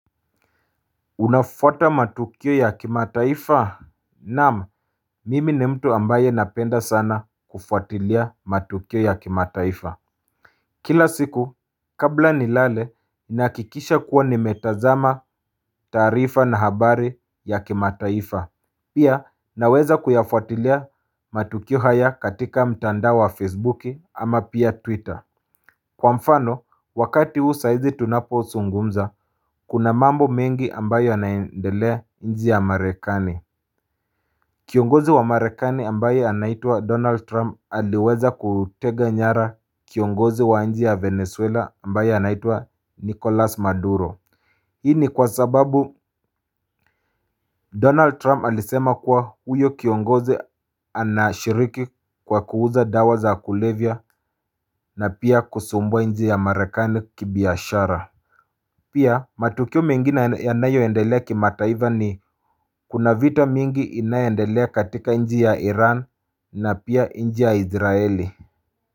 Unafuata matukio ya kimataifa? Naam mimi ni mtu ambaye napenda sana kufuatilia matukio ya kimataifa Kila siku kabla nilale nahakikisha kuwa nimetazama taarifa na habari ya kimataifa Pia naweza kuyafuatilia matukio haya katika mtandao wa facebook ama pia twitter Kwa mfano wakati huu saizi tunapozungumza, kuna mambo mengi ambayo yanaendelea nchi ya marekani Kiongozi wa marekani ambaye anaitwa Donald Trump aliweza kutega nyara kiongozi wa nchi ya Venezuela ambayo anaitwa Nicolas Maduro Hii ni kwa sababu Donald Trump alisema kuwa huyo kiongozi anashiriki kwa kuuza dawa za kulevya na pia kusumbua nchi ya marekani kibiashara Pia matukio mengine yanayoendelea kimataifa ni kuna viti mingi inayoendelea katika nchi ya Iran na pia nchi ya Israeli.